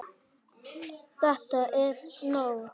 ÞETTA ER NÓG!